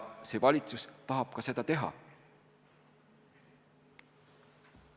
See valitsus tahab ka seda teha.